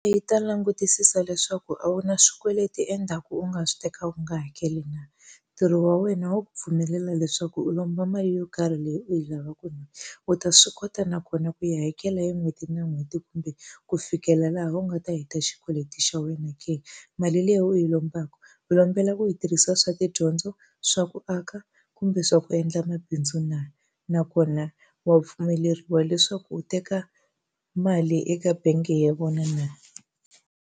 Yi ta langutisisa leswaku a wu na swikweleti endzhaku u nga swi teka u nga hakeli na. Ntirho wa wena wo ku pfumelela leswaku u lomba mali yo karhi leyi u yi lavaka na? U ta swi kota nakona ku yi hakela hi n'hweti na n'hweti kumbe ku fikela laha u nga ta heta xikweleti xa wena ke? Mali leyi u yi lombaka u lombela ku yi tirhisa swa tidyondzo, swa ku aka, kumbe swa ku endla mabindzu na? Nakona wa pfumeleriwa leswaku u teka mali eka bangi ya vona na?